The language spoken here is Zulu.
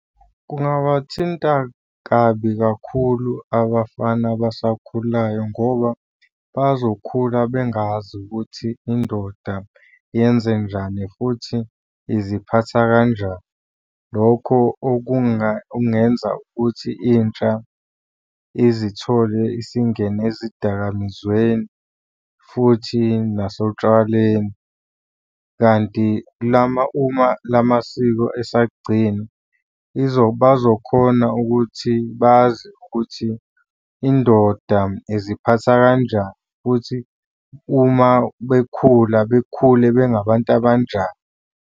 Kungabathinta kabi kakhulu abafana abasakhulayo ngoba bazokhula bengazi ukuthi indoda yenzenjani futhi iziphatha kanjani. Lokho okungenza ukuthi intsha izithole isingene ezidakamizweni futhi nasotshwaleni, kanti uma la masiko esagcinwa, bazokhona ukuthi bazi ukuthi indoda iziphatha kanjani, futhi uma bekhula bekhule bengabantu abanjani.